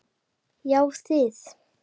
Já þið!